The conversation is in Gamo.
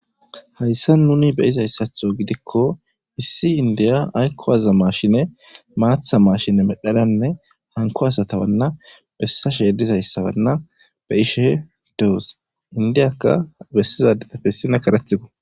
hayssa nuni be izayssatho gidikko issi indiya aykkowaza maashine maatha maashine medhananne hanko asatawanna bessa sheedizayssabanna be ishe deose indiyakka bessizaade tafessina karethigo